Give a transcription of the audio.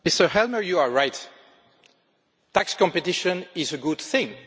Mr Helmer, you are right. Tax competition is a good thing.